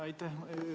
Aitäh!